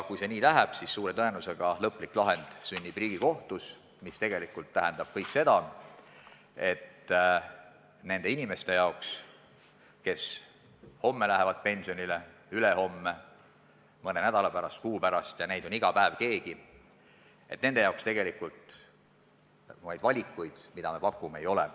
Kui see nii läheb, siis suure tõenäosusega sünnib lõplik lahend Riigikohtus, mis tegelikult tähendab seda, et nendel inimestel, kes lähevad pensionile homme, ülehomme, mõne nädala pärast, kuu pärast – iga päev läheb keegi –, tegelikult neid valikuid, mida me pakume, ei ole.